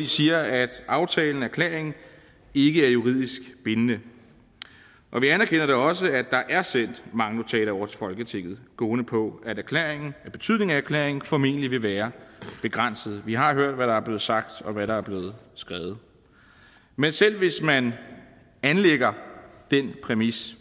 de siger at aftalen erklæringen ikke er juridisk bindende og vi anerkender da også at der er sendt mange notater over til folketinget gående på at betydningen af erklæringen formentlig vil være begrænset vi har hørt hvad der er blevet sagt og set hvad der er blevet skrevet men selv hvis man anlægger den præmis